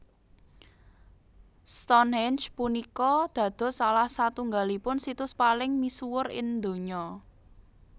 Stonhenge punika dados salah satunggalipun situs paling misuwur ing donya